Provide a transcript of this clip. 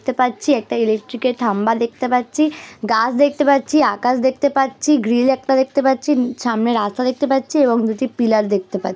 দেখতে পাচ্ছি একটা এর থামবা দেখতে পাচ্ছি গাছ দেখতে পাচ্ছি আকাশ দেখতে পাচ্ছি গ্রিল একটা দেখতে পাচ্ছি সামনে রাস্তা দেখতে পাচ্ছি এবং নিচে পিলার দেখতে পাচ্ছি।